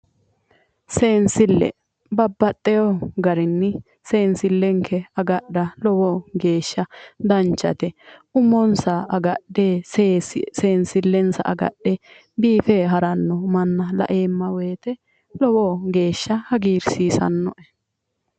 Seensille. Babbaxxiwo garinni seensillenke agadha lowo geeshsha danchate. Umonsa agadhe seensillensa agadhe biife haranno manna laeemma woyite lowo geeshsha hagiirsiisannoe.